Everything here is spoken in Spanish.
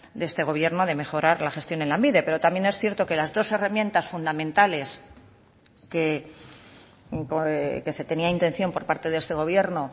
de este gobierno de mejorar la gestión en lanbide pero también es cierto que las dos herramientas fundamentales que se tenía intención por parte de este gobierno